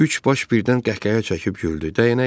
Üç baş birdən qəh-qəhə çəkib güldü.